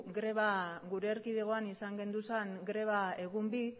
greba gure erkidegoan izan genituen greba egun bi